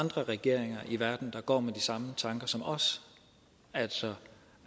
andre regeringer i verden der går med de samme tanker som os altså